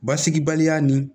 Basigibaliya nin